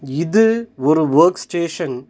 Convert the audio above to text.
இது ஒரு workstation .